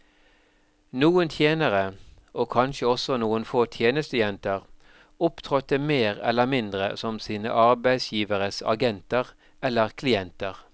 Noen tjenere, og kanskje også noen få tjenestejenter, opptrådte mer eller mindre som sine arbeidsgiveres agenter eller klienter.